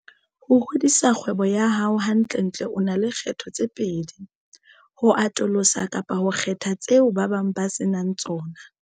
Ho hodisa kgwebo ya hao, hantlentle o na le kgetho tse pedi - ho atolosa kapa ho kgetha tseo ba bang ba se nang tsona.